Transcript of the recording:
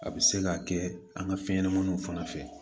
A bɛ se ka kɛ an ka fɛn ɲɛnamaninw fana fɛ